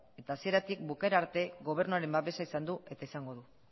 eta hasieratik bukaera arte gobernuaren babesa izan du eta izango du